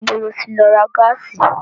Níbo ló ti lọ ra gáàsì?